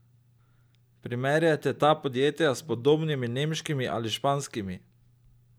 Primerjajte ta podjetja s podobnimi nemškimi ali španskimi!